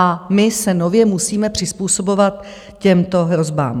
A my se nově musíme přizpůsobovat těmto hrozbám.